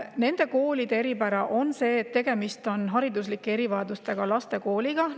Nende koolide eripära on see, et tegemist on hariduslike erivajadustega laste koolidega.